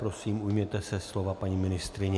Prosím, ujměte se slova, paní ministryně.